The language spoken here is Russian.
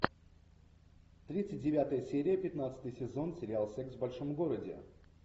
тридцать девятая серия пятнадцатый сезон сериал секс в большом городе